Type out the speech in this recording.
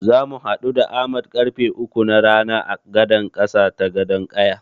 Zamu haɗu da Ahmad karfe uku na rana a gadan ƙasa ta Gadon ƙaya.